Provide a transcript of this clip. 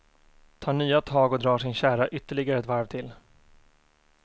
Tar nya tag och drar sin kärra ytterligare ett varv till.